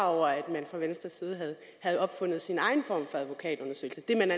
over at man fra venstres side havde opfundet sin egen form for advokatundersøgelse det